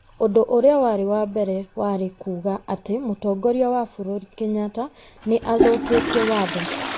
Ũndũ ũrĩa warĩ wa mbere warĩ kuuga atĩ Mũtongoria wa bũrũri Kenyatta nĩ athũkĩtie Watho,